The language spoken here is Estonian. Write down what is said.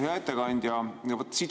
Hea ettekandja!